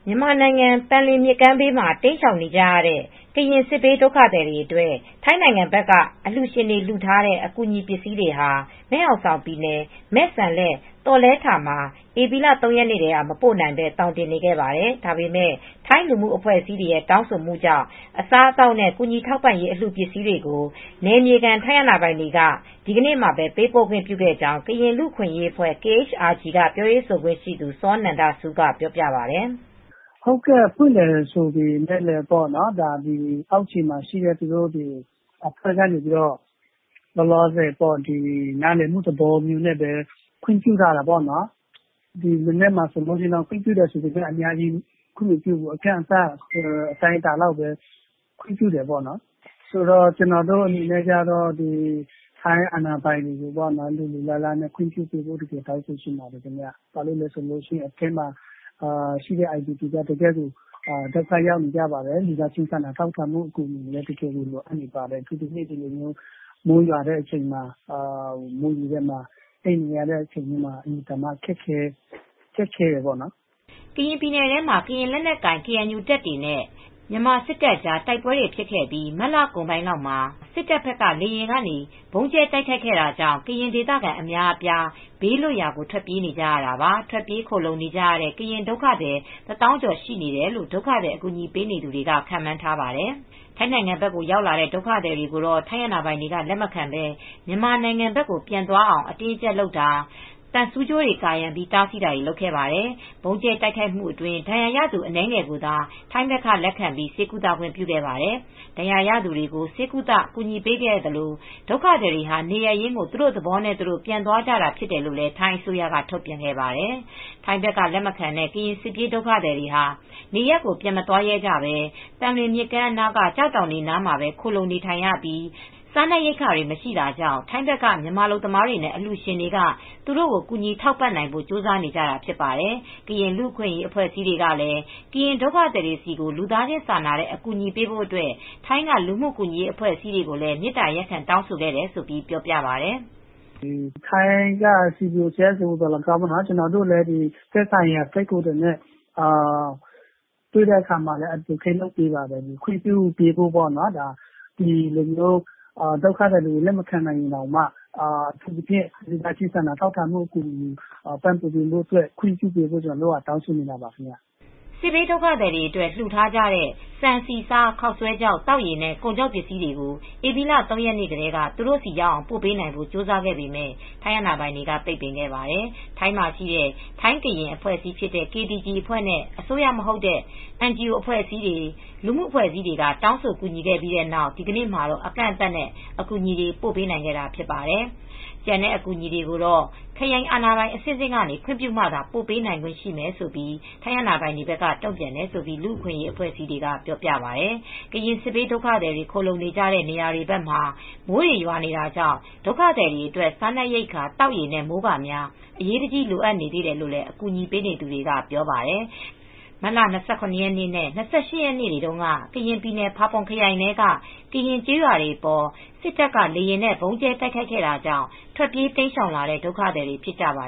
မြန်မာနိုင်ငံ သံလွင်မြစ်ကမ်းဘေးမှာ တိမ်းရှောင်နေကြတဲ့ ကရင် စစ်ဘေးဒုက္ခသည်တွေ အတွက် ထိုင်းနိုင်ငံဘက်က အလှူရှင်တွေ လှူထားတဲ့ အကူအညီပစ္စည်းတွေဟာ မယ်ဟောင်ဆောင်ပြည်နယ် မဲ့စမ်လက် (သောလယ်ထာ) မှာ ဧပြီ ၃ ရက်နေ့ထဲက မပို့နိုင်ဘဲ သောင်တင်နေခဲ့ပါတယ်။ ဒါပေမဲ့ ထိုင်းလူမှုအဖွဲ့အစည်းတွေရဲ့ တောင်းဆိုမှုကြောင့် အစားအသောက်နဲ့ ကူညီထောက်ပံ့ရေးအလှူပစ္စည်းတွေကို နယ်မြေခံ ထိုင်းအာဏာပိုင်တွေက ဒီနေ့မှာ ပေးပို့ခွင့်ပြုခဲ့ကြောင်း ကရင်လူအခွင့်ရေးအဖွဲ့(KHRG)က ပြောရေးဆိုခွင့်ရှိသူ စောနန္ဒဆူးက ပြောပြပါတယ်။ "ဖွင့်တယ်ဆိုပေမဲ့လည်း အောက်ခြေမှာရှိတဲ့ သူတို့အာဏာပိုင်တွေက နားလည်မှုနဲ့ ခွင့်ပြုခဲ့တာပေါ့နော်။ ဒီမနက်မှာလည်း အများကြီးခွင့်မပြုဘူး အတိုင်းအတာ တခုလောက်ထိပဲ ခွင့်ပြုတယ် ကျနော်တို့ အနေနဲ့ တောင်းဆိုချင်တာက ထိုင်းအာဏာပိုင်တွေက လိုလိုလားလား ခွင့်ပြုစေချင်တယ်ပေါ့နော်။ အထဲမှာ အိုင်ဒီပီပြည်တွင်း အိုးအိမ်မဲ့ဒုက္ခသည်တွကအင်မတန်မှ ဒုက္ခတွေ ရောက်နေကြပါတယ်။ လူသားချင်းစာနာတဲ့ အကူအညီတွေလည်း ပိုပြီး လိုအပ်နေပါတယ်။ အခုဆိုရင် မိုးရွာထဲမှာ အိပ်နေရတာကလည်းအတော်ခက်ခဲပါတယ်။" ကရင်ပြည်နယ်ထဲမှာ ကရင်လက်နက်ကိုင် ကေအန်ယူတပ်တွေနဲ့ မြန်မာစစ်တပ်ကြား တိုက်ပွဲတွေဖြစ်ခဲ့ပြီး မတ်လကုန်ပိုင်းမှာ စစ်တပ်ဘက်က လေကြောင်းကနေ ဗုံးကြဲတိုက်ခိုက်ခဲ့ပြီးနောက် ကရင်ဒေသခံအများအပြား ဘေးလွတ်ရာ ထွက်ပြေးနေကြတာပါ။ ထွက်ပြေးခိုလှုံနေကြရတဲ့ ကရင်ဒုက္ခသည် ၁၀,၀၀၀ ကျော်ရှိတယ်လို့ ဒုက္ခသည် အကူအညီပေးနေသူတွေက ခန့်မှန်းပါတယ်။ ထိုင်းနိုင်ငံဘက်ရောက်လာတဲ့ ဒုက္ခသည်တွေကို ထိုင်းအာဏာပိုင်တွေက လက်မခံဘဲ မြန်မာနိုင်ငံဘက်ကို ပြန်သွားအောင် အတင်းအကြပ်လုပ်တာ၊ သံဆူးကြိုးတွေ ကာရံပြီး တားဆီးတာတွေ လုပ်ခဲ့ပါတယ်။ ဗုံးကြဲတိုက်ခိုက်မှုအတွင်း ဒဏ်ရာရသူ အနည်းငယ်ကိုသာ ထိုင်းဖက်က လက်ခံပြီး ဆေးကုသခွင့်ပြုခဲ့ပါတယ်။ ဒဏ်ရာရသူတွေကို ဆေးကုသ ကူညီပေးခဲ့သလို၊ ဒုက္ခသည်တွေဟာ နေရပ်ရင်းကို သူတို့သဘောနဲ့ သူတို့ ပြန်သွားကြတာဖြစ်တယ်လို့ ထိုင်းအစိုးရက ထုတ်ပြန်ပါတယ်။ ထိုင်းဘက်က လက်မခံတဲ့ ကရင်စစ်ဘေးဒုက္ခသည်တွေဟာ နေရပ်တွေကို ပြန်မသွားရဲကြဘဲ သံလွင်မြစ်ကမ်းအနားက ကျောက်တောင်တွေ အနားမှာပဲ ခိုလှုံနေထိုင်ရပြီး စားနပ်ရိက္ခာတွေမရှိတာကြောင့် ထိုင်းဘက်က မြန်မာအလုပ်သမားတွေနဲ့အလှူရှင်တွေကသူတို့ကို ကူညီထောက်ပံ့နိုင်ဖို့ ကြိုးစားနေကြတာ ဖြစ်ပါတယ်။ ကရင်လူအခွင့်ရေးအဖွဲ့အစည်းတွေကလည်း ကရင်ဒုက္ခသည်တွေဆီကို လူသားချင်းစာနာတဲ့ အကူညီပေးဖို့အတွက်ထိုင်းက လူ့မှုကူညီရေးအဖွဲ့အစည်းတွေကိုလည်း မေတ္တာရပ်ခံ တောင်းဆိုခဲ့တယ်လို့ ပြောပြပါတယ်။ "ထိုင်းက CBO၊ CSO တွေကို ကျနော်တို့လည်း သက်ဆိုင်ရာထိုင်းကိုယ်စားလှယ်တွေနဲ့တွေ့တဲ့အခါမှာ Advocate လုပ်ပါတယ်၊ ခွင့်ပြုပေးဖို့ပေါ့နော်။ ဒီလိုမျိုး ဒုက္ခသည်တွေကို လက်မခံနိုင်ရင်တောင်မှ ဒုက္ခသည်တွေအတွက် စားနပ်ရိက္ခာတွေကို လူသားချင်းစာနာမှုတွေနဲ့ ခွင့်ပြုပေးဖို့ တောင်းဆိုနေတာပါ။" စစ်ဘေးဒုက္ခသည်တွေအတွက် လှူထားကြတဲ့ ဆန်ဆီ၊ ဆား၊ ခေါက်ဆွဲခြောက် သောက်ရေနဲ့ ကုန်ခြောက်ပစ္စည်းတွေကို ဧပြီလ ၃ ရက်နေ့ထဲက သူတို့ဆီရောက်အောင် ပို့ပေးနိုင်ဖို့ ကြိုးစားခဲ့ပေမဲ့ ထိုင်းအာဏာပိုင်တွေက ပိတ်ပင်ခဲ့ပါတယ်။ ထိုင်းမှာ ရှိတဲ့ ထိုင်းကရင် (KTG) အဖွဲ့နဲ့ အစိုးရမဟုတ်တဲ့ NGO အဖွဲ့အစည်းတွေ လူမှုအဖွဲ့အစည်းတွေက တောင်းဆို ကူညီခဲ့ပြီးနောက် ဒီနေ့မှာတော့ အကန့်အသတ်နဲ့ အကူအညီတွေ ပို့ပေးနိုင်ခဲ့တာဖြစ်ပါတယ်။ ကျန်တဲ့အကူအညီတွေကိုတော့ ခရိုင်အာဏာပိုင်အဆင့်ဆင့်ကနေ ခွင့်ပြုမှာသာပို့ပေးနိုင်ခွင့်ရမယ်လို့ ထိုင်းအာဏာပိုင်တွေက တုံ့ပြန်တယ်လို့ လူအခွင့်ရေးအဖွဲ့အစည်းတွေကပြောပြပါတယ်။ ကရင်စစ်ဘေး ဒုက္ခသည်တွေ ခိုလှုံနေကြတဲ့ နေရာဘက်တွေမှာ မိုးတွေရွာနေတာတွေကြောင့် ဒုက္ခသည်တွေအတွက် စားနပ်ရိက္ခာ သောက်ရေနဲ့ မိုးကာများ အရေးတကြီး လိုအပ်နေသေးတယ်လို့ အကူအညီပေးနေသူတွေကပြောပါတယ်။မတ်လ ၂၇ ရက်နေ့နဲ့ ၂၈ ရက်နေ့တွေတုန်းက ကရင်ပြည်နယ်ဖာပွန်ခရိုင်ထဲက ကရင်ကျေးရွာတွေအပေါ် စစ်တပ်ကလေယာဉ်နဲ့ ဗုံးကြဲတိုက်ခိုက်ခဲ့တာကြောင့် ထွက်ပြေးတိမ်းရှောင်လာတဲ့ ဒုက္ခသည်တွေ ဖြစ်ကြပါ